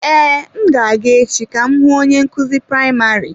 Ee, m ga-aga echi ka m hụ onye nkuzi praịmarị.